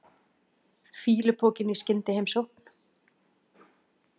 Fýlupokinn í skyndiheimsókn.